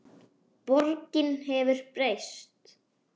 Borgin hefur breyst.